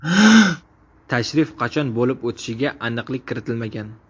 Tashrif qachon bo‘lib o‘tishiga aniqlik kiritilmagan.